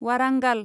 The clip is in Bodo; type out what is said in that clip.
वारांगाल